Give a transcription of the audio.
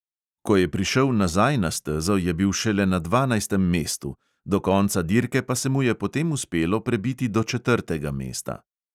Ko je prišel nazaj na stezo, je bil šele na dvanajstem mestu, do konca dirke pa se mu je potem uspelo prebiti do četrtega mesta.